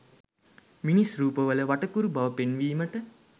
මිනිස් රූපවල වටකුරු බව පෙන්වීමට